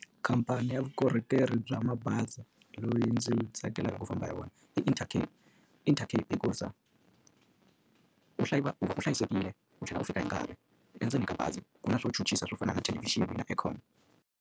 Khamphani ya vukorhokeri bya mabazi loyi ndzi tsakelaka ku famba hi wona Intercape. Intercape hikusa wu hlayisekile, Wu tlhela wu fika hi nkarhi. Endzeni ka bazi, ku na swo swo fana na thelevixini na aircon.